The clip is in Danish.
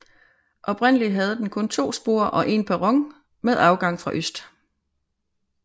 Oprindeligt havde den kun to spor og en perron med adgang fra øst